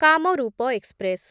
Kamrup express